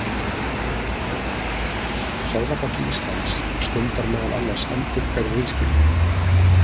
Seðlabanki Íslands stundar meðal annars endurhverf viðskipti.